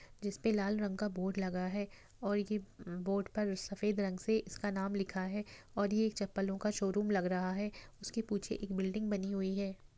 जिसपे लाल रंग का बोर्ड लगा है और ये बोर्ड पर सफेद रंग से इसका नाम लिखा है और ये एक चप्पलों का शोरूम लग रहा है। उसके पुछे एक बिल्डिंग बनी हुई है।